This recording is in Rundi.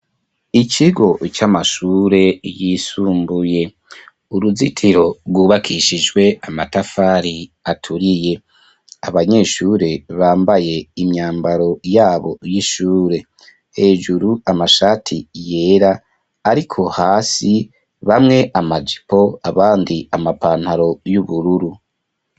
Ikigo c'amashure yisumbuye uruzitiro rwubakishijwe amatafari aturiye abanyeshure bambaye imyambaro yabo y'ishure hejuru amashati yera, ariko hasi bamwe amajipo abandi amapantaro y'ubururu.